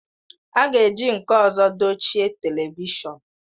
A ga-eji nke ọzọ dochie telivishọn